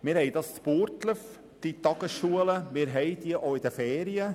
Wir haben dies in Burgdorf, diese Tagesschulen, wir haben diese auch in den Ferien.